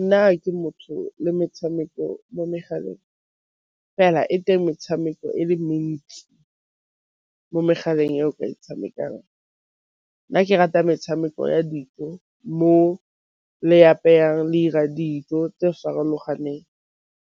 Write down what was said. Nna ke motho le metshameko mo megaleng, fela e teng metshameko e le mentsi mo megaleng e o o ka e tshamekang. Nna ke rata metshameko ya dijo mo apayang le 'ira dijo tse di farologaneng,